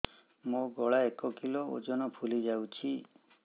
ମୋ ଗଳା ଏକ କିଲୋ ଓଜନ ଫୁଲି ଯାଉଛି